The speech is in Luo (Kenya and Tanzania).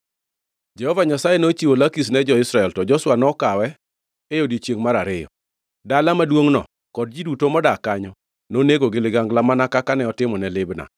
Jehova Nyasaye nochiwo Lakish ne jo-Israel, to Joshua to ne okawe e odiechiengʼ mar ariyo. Dala maduongʼno kod ji duto modak kanyo nonego gi ligangla, mana kaka ne otimone Libna.